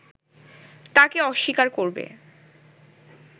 তা কে অস্বীকার করবে